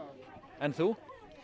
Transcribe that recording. en þú